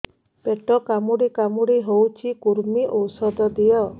ପେଟ କାମୁଡି କାମୁଡି ହଉଚି କୂର୍ମୀ ଔଷଧ ଦିଅ